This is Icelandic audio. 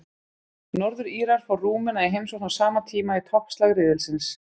Norður-Írar fá Rúmena í heimsókn á sama tíma í toppslag riðilsins.